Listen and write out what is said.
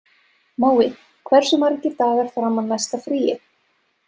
Mói, hversu margir dagar fram að næsta fríi?